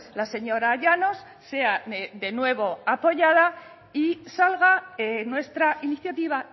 la señora llanos sea de nuevo apoyada y salga nuestra iniciativa